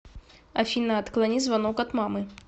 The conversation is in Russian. афина отклони звонок от мамы